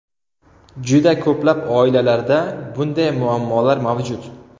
Juda ko‘plab oilalarda bunday muammolar mavjud.